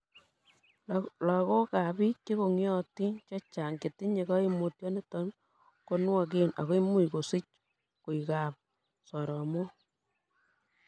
Logok ak biik chekong'iotin chechang chetinye koimutioniton ko nwogen ak imuch kosich koikab soromok.